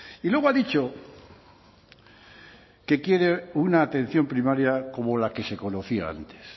y luego ha dicho que quiere una atención primaria como la que se conocía antes